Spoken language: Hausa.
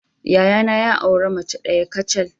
Yayana ya auren mace daya kacal.